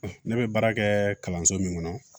Ne bɛ baara kɛ kalanso min kɔnɔ